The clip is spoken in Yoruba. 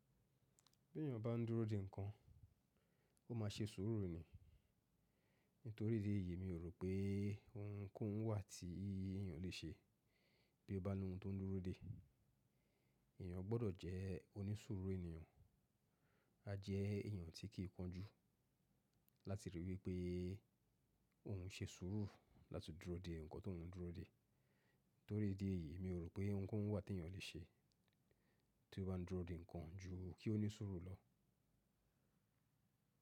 Bí èyàn bá ń dúró de ǹkan, ó ma ṣe sùúrù ni. Nítorí ìdí èyí mi rò pé ohun kohun wà tí èyàn lè ṣe bí ó bá ní ohun tó ń dúró dé. Èyàn gbọ́dọ̀ jẹ́ onísùúrù ènìyàn, a jẹ́ èyàn tí kì í kọ́njú láti rí i wípé òhun ṣe sùúrù láti dúró de ǹkan tó ń dúró de. Nítorí ìdí èyí mi rò pé ohun kohun wà tí èyàn lè ṣe tí ó bá ń dúró de ǹkan ju kí ó ní sùúrù lọ.